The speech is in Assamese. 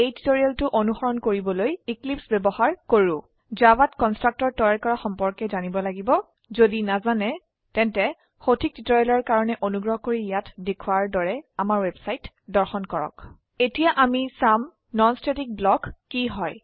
এই টিউটোৰিয়েলটো অনুসৰণ কৰিবলৈ এক্লিপছে ব্যবহাৰ কৰো জাভাত কন্সট্ৰাকটৰ তৈয়াৰ কৰা সম্পৰ্কে জানিব লাগিব যদি নাজানে তেন্তে সঠিক টিউটৰিয়েলৰ কাৰনে অনুগ্ৰহ কৰি ইয়াত দেখোৱাৰ দৰে আমাৰ ৱেবছাইট দৰ্শন কৰক httpwwwspoken tutorialঅৰ্গ এতিয়া আমি চাম নন স্ট্যাটিক ব্লক কি হয়160